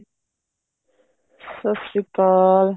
ਸਤਿ ਸ਼੍ਰੀ ਅਕਾਲ